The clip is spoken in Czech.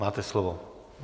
Máte slovo.